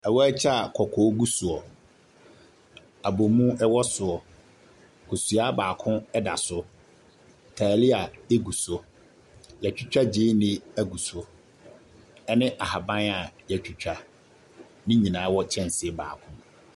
Awaakye a kɔkɔɔ gu soɔ, abomu ɛwɔ soɔ, kosua baako ɛda so, taalia egu so, yɛtwitwa gyeene egu so, ɛne ahaban a yɛtwitwa. ne nyinaara wɔ kyɛnse baako mu.